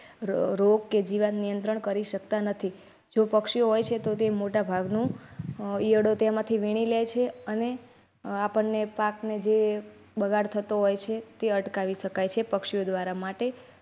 રોગ કે જીવાત નિયંત્રણ કરી શકતા નથી. જો પક્ષી હોય છે તો તે મોટાભાગની ઈયળો તેમાંથી વીણી લે છે અને આપણને પાકને ને જે બગાડ થતો હોય છે તે અટકાવી શકાય છે પક્ષીઓ દ્વારા માટે.